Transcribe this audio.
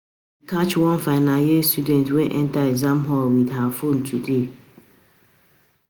Dey catch one final year student wey enter exam hall with her phone today